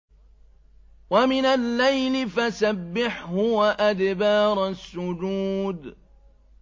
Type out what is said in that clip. وَمِنَ اللَّيْلِ فَسَبِّحْهُ وَأَدْبَارَ السُّجُودِ